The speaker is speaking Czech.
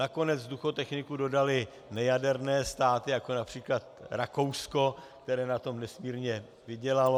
Nakonec vzduchotechniku dodaly nejaderné státy, jako například Rakousko, které na tom nesmírně vydělalo.